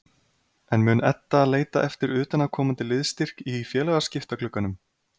En mun Edda leita eftir utanaðkomandi liðsstyrk í félagsskiptaglugganum?